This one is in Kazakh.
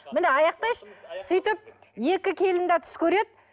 міне аяқтайыншы сөйтіп екі келін де түс көреді